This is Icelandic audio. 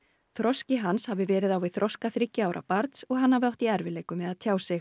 þroski hans hafi verið á við þroska þriggja ára barns og hann hafi átt í erfiðleikum með að tjá sig